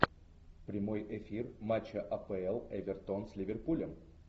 прямой эфир матча апл эвертон с ливерпулем